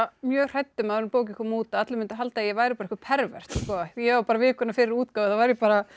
mjög hrædd um áður en bókin kom út að allir myndu halda að ég væri einhver ég var bara vikuna fyrir útgáfu þá var ég bara